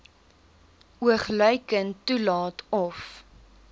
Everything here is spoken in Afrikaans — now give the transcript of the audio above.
oogluikend toelaat of